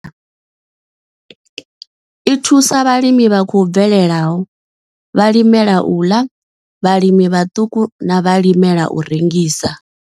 I thusa vhalimi vha khou bvelelaho, vhalimela u ḽa, vhalimi vhaṱuku na vhalimela u rengisa.